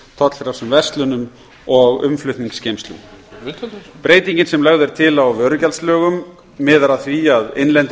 tollfrjálsum verslunum og umflutningsgeymslum breytingin sem lögð er til á vörugjaldslögum miðar að því að innlendir